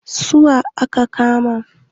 Su wa aka kama?